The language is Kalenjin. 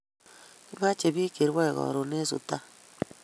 Kimache pik che rwae karun en sudan